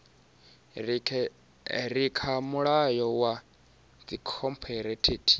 re kha mulayo wa dzikhophorethivi